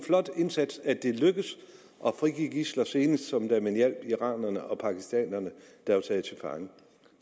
flot indsats at det er lykkedes at frigive de gidsler senest som da man hjalp de iranere og pakistanere der var taget til fange